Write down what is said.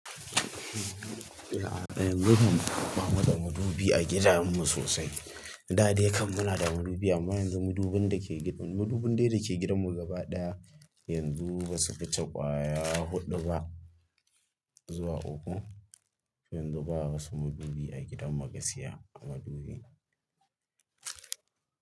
Yanzu mun fi kwama da madubi a gidanmu sosai. Da dai kam muna da madubi amma yanzu madubin da ke gidanmu, madubin dai da ke gidanmu gaba ɗaya yanzu ba su wuce kwaya huɗu ba zuwa uku. Yanzu babu masu madubi a gidan magaskiya madubi.